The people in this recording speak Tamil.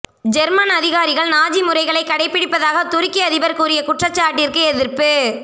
ஜெர்மன் அதிகாரிகள் நாஜி முறைகளை கடைப்பிடிப்பதாக துருக்கி அதிபர் கூறிய குற்றச்சாட்டிற்கு எதிர்ப்பு